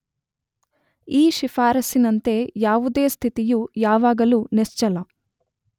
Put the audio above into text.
ಈ ಶಿಫಾರಸ್ಸಿನಂತೆ ಯಾವುದೇ ಸ್ಥಿತಿಯು ಯಾವಾಗಳು ನಿಶ್ಚಲ